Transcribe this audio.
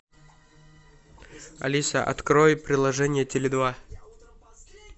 алиса открой приложение теле два